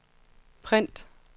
print